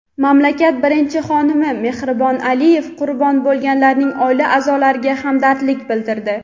mamlakat birinchi xonimi Mehribon Aliyeva qurbon bo‘lganlarning oila a’zolariga hamdardlik bildirdi.